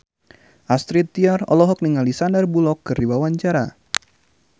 Astrid Tiar olohok ningali Sandar Bullock keur diwawancara